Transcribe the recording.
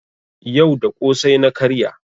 Yau da ƙosai na karya.